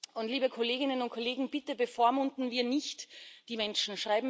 Und liebe Kolleginnen und Kollegen, bitte bevormunden wir nicht die Menschen.